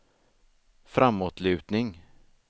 framåtlutning